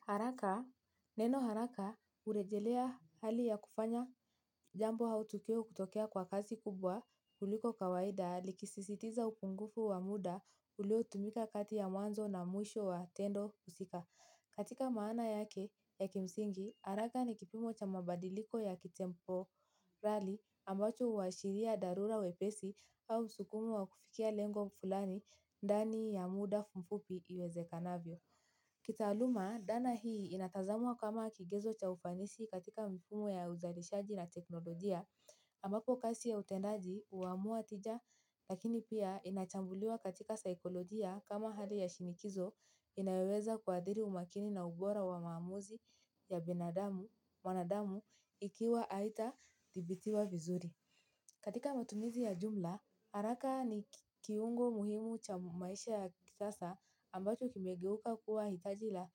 Haraka, neno haraka urejelea hali ya kufanya jambo au tukio kutokea kwa kazi kubwa kuliko kawaida likisisitiza upungufu wa muda ulio tumika kati ya mwanzo na mwisho wa tendo husika. Katika maana yake ya kimsingi haraka ni kipimo cha mabadiliko ya ki temporali ambacho uashiria dharura wepesi au msukumo wa kufikia lengo fulani ndani ya muda mfupi iwezekanavyo. Kitaaluma, dana hii inatazamwa kama kigezo cha ufanisi katika mfumo ya uzalishaji na teknolojia ambapo kasi ya utendaji uamua tija lakini pia inachambuliwa katika saikolojia kama hali ya shinikizo inayoweza kuadhiri umakini na ubora wa maamuzi ya mwanadamu ikiwa haita dhibitiwa vizuri. Katika matumizi ya jumla, haraka ni kiungo muhimu cha maisha ya kisasa ambacho kimegeuka kuwa hitaji la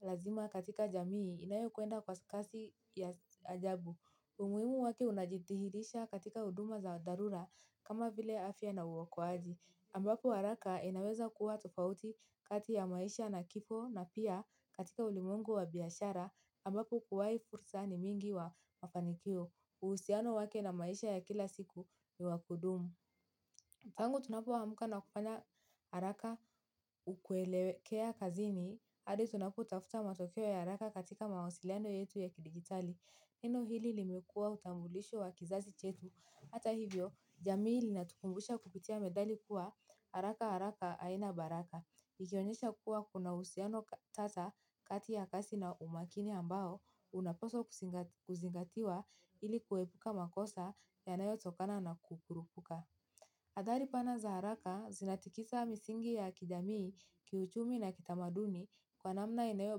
lazima katika jamii inayo kwenda kwa kasi ya ajabu. Umuhimu wake unajithihirisha katika uduma za dharura kama vile afya na uokoaji. Ambapo haraka inaweza kuwa tofauti kati ya maisha na kipo na pia katika ulimwengu wa biashara ambapo kuwai fursa ni mingi wa mafanikio. Uhusiano wake na maisha ya kila siku ni wa kudumu. Tangu tunapo amka na kufanya haraka kuelewekea kazini hadi tunapo tafuta matokeo ya haraka katika mawasiliano yetu ya kidigitali. Neno hili limekua utambulisho wa kizazi chetu. Hata hivyo, jamii linatukumbusha kupitia methali kuwa haraka haraka aina baraka. Ikionyesha kuwa kuna uhusiano tata kati ya kasi na umakini ambao unapaswa kuzingatiwa ili kuepuka makosa yanayo tokana na kukurupuka. Athari pana za haraka zinatikisa misingi ya kijamii kiuchumi na kitamaduni kwa namna inayo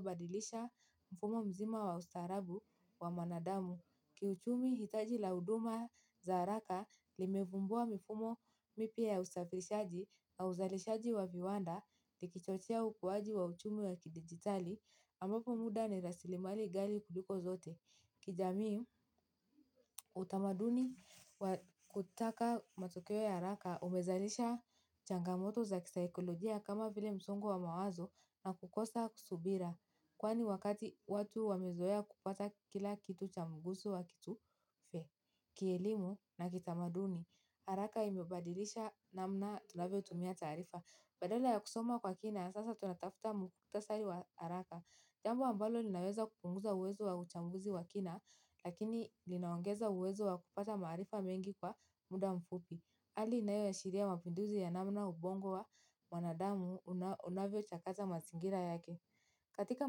badilisha mfumo mzima wa ustarabu wa mwanadamu. Kiuchumi hitaji la uduma za haraka limevumbua mifumo mipya ya ustafirishaji na uzalishaji wa viwanda likichochea ukuaji wa uchumi wa kidigitali ambapo muda ni rasilimali ghali kuliko zote. Kijamii utamaduni wa kutaka matokeo ya haraka umezalisha changamoto za kisaikolojia kama vile msongo wa mawazo na kukosa kusubira. Kwani wakati watu wamezoea kupata kila kitu cha mgusu wa kitu fe. Kielimu na kitamaduni, haraka imebadilisha namna tunavyo tumia taarifa. Badala ya kusoma kwa kina sasa tunatafuta mukhtasari wa haraka jambo ambalo linaweza kupunguza uwezo wa uchambuzi wa kina, lakini linaongeza uwezo wa kupata maarifa mengi kwa muda mfupi. Hali inayo ashiria mapinduzi ya namna ubongo wa mwanadamu unavyo chakata masingira yake. Katika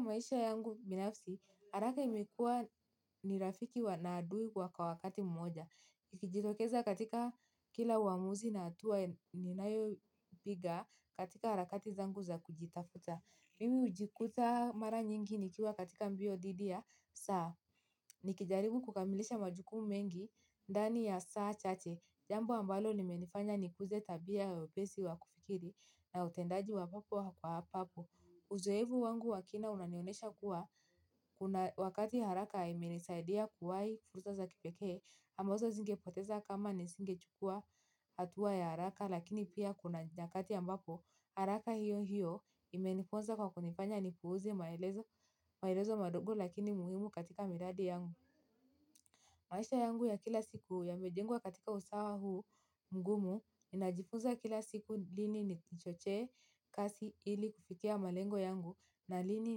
maisha yangu binafsi, haraka imekuwa ni rafiki wa na adui kwa kwa wakati mmoja. Ikijitokeza katika kila uamuzi na hatua ninayo piga katika harakati zangu za kujitafuta. Mimi ujikuta mara nyingi nikiwa katika mbio dhidi ya saa nikijaribu kukamilisha majukumu mengi ndani ya saa chache jambo ambalo limenifanya nikuze tabia ya wepesi wa kufikiri na utendaji. Uzoevu wangu wa kina unanionesha kuwa wakati haraka imenisaidia kuwahi fursa za kipekee ambazo zingepoteza kama nisingechukua hatua ya haraka lakini pia kuna nyakati ambapo haraka hiyo hiyo imenifunza kwa kunifanya nipuuze maelezo madogo lakini muhimu katika miradi yangu. Maisha yangu ya kila siku yamejengwa katika usawa huu mgumu ninajifunza kila siku lini nichochee kasi ili kufikia malengo yangu na lini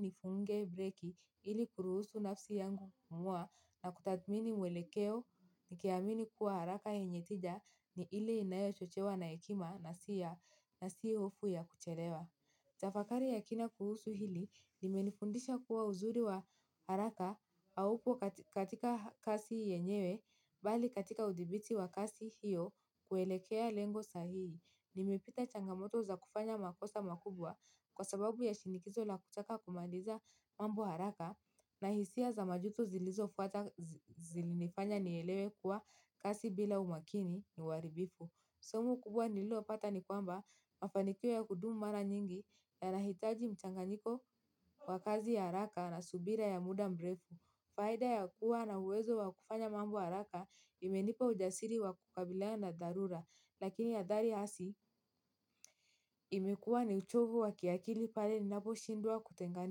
nifunge breki ili kuruhusu nafsi yangu mwa na kutathmini mwelekeo nikiamini kuwa haraka yenye tija ni ile inayo chochewa na ekima na si ya na sio ofu ya kuchelewa. Tafakari ya kina kuhusu hili nimenifundisha kuwa uzuri wa haraka auko katika kasi yenyewe bali katika udhibiti wa kasi hiyo kuelekea lengo sahii. Nimepita changamoto za kufanya makosa makubwa kwa sababu ya shinikizo la kutaka kumaliza mambo haraka na hisia za majuto zilizofuata zilinifanya nielewe kuwa kasi bila umakini ni uaribifu. Somo kubwa nililo pata ni kwamba mafanikio ya kudumu mara nyingi yanahitaji mchanganyiko wa kazi ya haraka na subira ya muda mrefu. Faida ya kuwa na uwezo wa kufanya mambo haraka imenipa ujasiri wa kukabiliana na dharura. Lakini adhari hasi imekuwa ni uchovu wa kiakili pale ninapo shindwa kutengani.